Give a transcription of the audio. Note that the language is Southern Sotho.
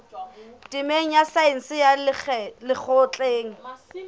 temeng ya saense ya lekgotleng